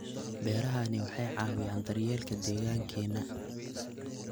Beerahani waxay caawiyaan daryeelka deegaankeena.